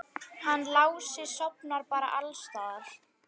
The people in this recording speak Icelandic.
Hann Lási sofnar bara alls staðar.